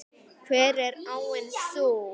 Hver er áin sú?